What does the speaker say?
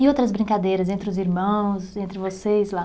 E outras brincadeiras, entre os irmãos, entre vocês lá?